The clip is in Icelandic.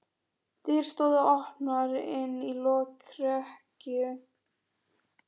Dyr stóðu opnar inn í lokrekkju.